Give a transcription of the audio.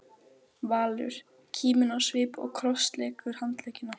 Valur, kíminn á svip og krossleggur handleggina.